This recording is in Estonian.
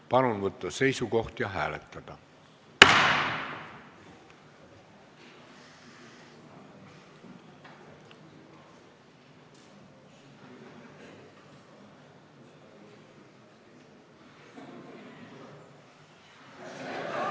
Palun võtta seisukoht ja hääletada!